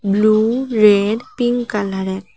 Blue red pink কালারের।